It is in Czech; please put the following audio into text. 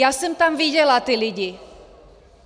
Já jsem tam viděla ty lidi.